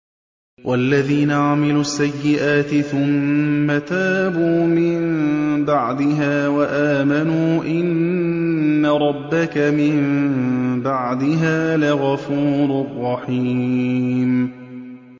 وَالَّذِينَ عَمِلُوا السَّيِّئَاتِ ثُمَّ تَابُوا مِن بَعْدِهَا وَآمَنُوا إِنَّ رَبَّكَ مِن بَعْدِهَا لَغَفُورٌ رَّحِيمٌ